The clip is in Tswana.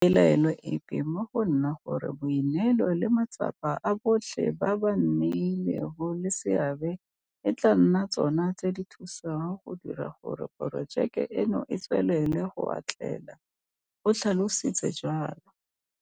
Ga ke na pelaelo epe mo go nna gore boineelo le matsapa a botlhe ba ba nnileng le seabe e tla nna tsona tse di thusang go dira gore porojeke eno e tswelele go atlela, o tlhalositse jalo.